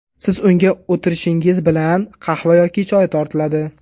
Siz unga o‘tirishingiz bilan qahva yoki choy tortiladi.